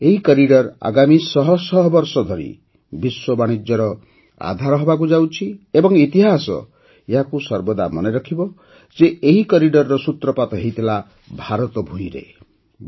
ଏହି କରିଡର୍ ଆଗାମୀ ଶହ ଶହ ବର୍ଷ ଧରି ବିଶ୍ୱ ବାଣିଜ୍ୟର ଆଧାର ହେବାକୁ ଯାଉଛି ଏବଂ ଇତିହାସ ଏହାକୁ ସର୍ବଦା ମନେ ରଖିବ ଯେ ଏହି କରିଡର୍ ର ସୂତ୍ରପାତ ଭାରତ ଭୂମିରେ ହୋଇଥିଲା